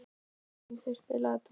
Auður, spilaðu tónlist.